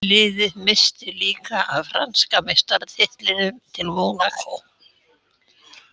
Liðið missti líka af franska meistaratitlinum til Mónakó.